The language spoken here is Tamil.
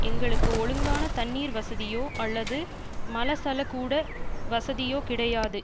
எங்களுக்கு ஒழுங்கான தண்ணீர் வசதியோ அல்லது மலசல கூட வசதியோ கிடையாது